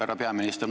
Härra peaminister!